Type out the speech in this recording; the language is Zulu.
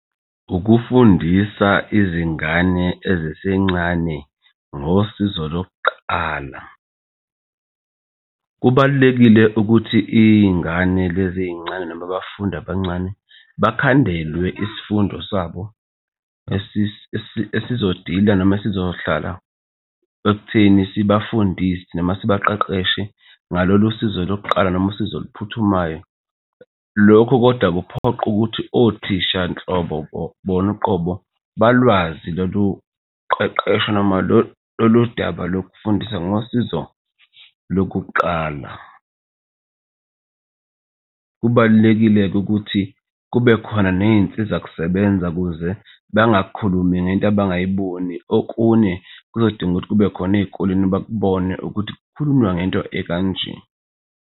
Ukufundisa izingane ezisencane ngosizo lokuqala, kubalulekile ukuthi iy'ngane lezi ey'ncane noma abafundi abancane bakhandelwe isifundo sabo esizodila, noma esizohlala ekutheni sibafundise noma sibaqeqeshe ngalolu sizo lokuqala noma usizo oluphuthumayo. Lokhu kodwa kuphoqa ukuthi othisha nhlobo bona uqobo balwazi lolu qeqesha noma lolu daba lokufundisa ngosizo lokuqala. Kubalulekile-ke ukuthi kube khona ney'nsiza kusebenza ukuze bangakhulumi ngento abangayiboni okune kuzodingeka ukuthi kube khona ey'koleni bakubone ukuthi kukhulunywa ngento ekanje.